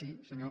sí senyor